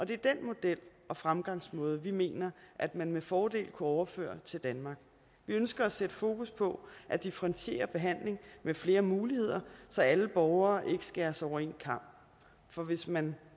det er den model og fremgangsmåde vi mener at man med fordel kunne overføre til danmark vi ønsker at sætte fokus på at differentiere behandlingen med flere muligheder så alle borgere ikke skæres over en kam for hvis man